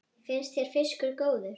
Finnst þér fiskur góður?